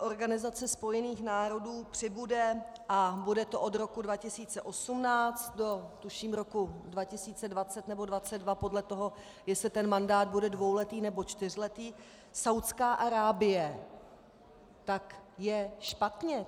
Organizace spojených národů, přibude a bude to od roku 2018 do, tuším, roku 2020 nebo 2022, podle toho, jestli ten mandát bude dvouletý nebo čtyřletý, Saúdská Arábie, tak je špatně.